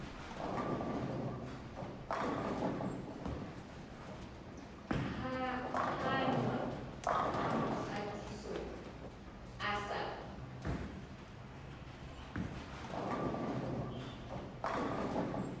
hanwa ha mokgatiso a sa